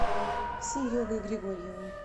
серегой григорьевым